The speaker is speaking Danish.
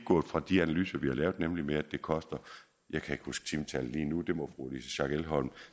gået fra de analyser vi har lavet nemlig at det koster jeg kan ikke huske timetallet lige nu det må fru louise schack elholm